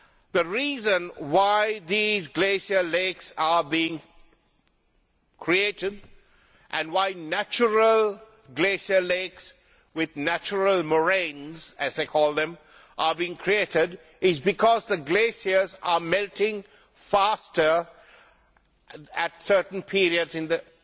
The reason why these glacial lakes are being created and why natural glacial lakes with natural moraines, as they call them, are being created is that the glaciers are melting faster at certain periods in the